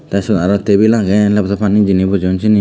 tey seyot aro tibule agey geley bojor jeyani pani bojeyun seyani.